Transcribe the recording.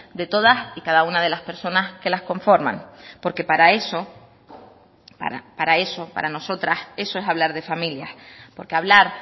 de todas y cada una de las personas que las conforman porque para eso para eso para nosotras eso es hablar de familias porque hablar